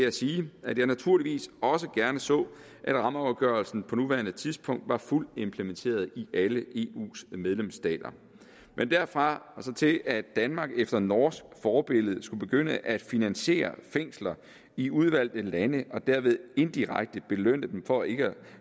at sige at jeg naturligvis også gerne så at rammeafgørelsen på nuværende tidspunkt var fuldt implementeret i alle eus medlemsstater men derfra og så til at danmark efter norsk forbillede skulle begynde at finansiere fængsler i udvalgte lande og derved indirekte belønne dem for ikke at